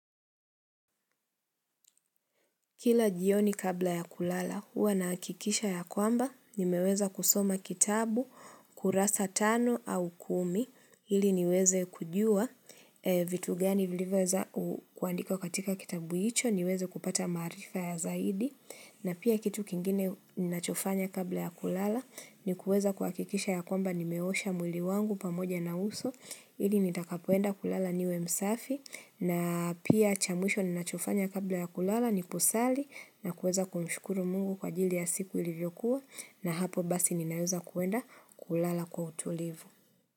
Kila jioni kabla ya kulala, huwa nahakikisha ya kwamba, nimeweza kusoma kitabu, kurasa tano au kumi, ili niweze kujua, e vitu gani vilivyoweza u kuandika katika kitabu hicho, niweze kupata maarifa ya zaidi, na pia kitu kingine nnachofanya kabla ya kulala, ni kuweza kuhakikisha ya kwamba nimeosha mwili wangu pamoja na uso, ili nitakapoenda kulala niwe msafi, na pia cha mwisho ninachofanya kabla ya kulala ni kusali na kuweza kumshukuru mungu kwa ajili ya siku ilivyokuwa na hapo basi ninaeza kuenda kulala kwa utulivu.